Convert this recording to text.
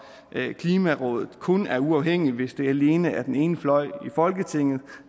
at klimarådet kun er uafhængigt hvis det alene er den ene fløj i folketinget